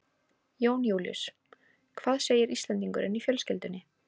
Jón Júlíus: Hvað segir Íslendingurinn í fjölskyldunni?